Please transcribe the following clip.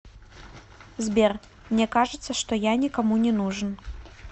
сбер мне кажется что я никому не нужен